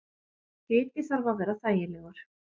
Hiti þarf að vera þægilegur.